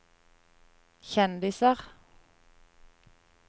kjendiser